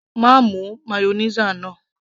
má mu mayonnaise náà